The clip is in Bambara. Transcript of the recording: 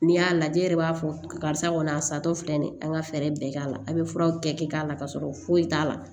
N'i y'a lajɛ e yɛrɛ b'a fɔ karisa kɔni a sa tɔ filɛ nin ye an ka fɛɛrɛ bɛɛ k'a la a bɛ furaw kɛ k'a la ka sɔrɔ foyi t'a la